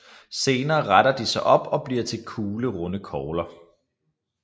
Senere retter de sig op og bliver til kuglerunde kogler